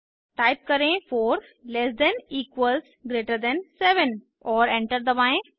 type करें 4 less than equals greater than 7 और enter दबाएं